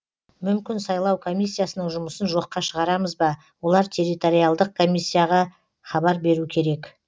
мүмкін сайлау комиссиясының жұмысын жоққа шығарамыз ба олар территориалдық комиссияға хабар беру керек